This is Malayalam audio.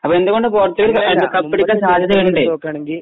അങ്ങനെ നോക്കുവാണെങ്കിൽ